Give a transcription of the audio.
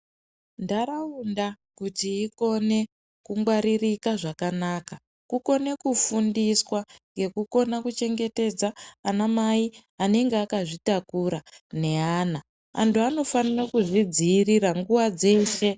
Ndaraunda kuti ikone kungwaririka zvakanaka kukone kufundiswa nekukona kuchengetedza ana mai anenge akazvitakura neana. Antu anofanira kuzvi dziirira nguwa dzeshe.